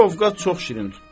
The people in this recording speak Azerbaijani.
Bir ovqat çox şirin tutdu.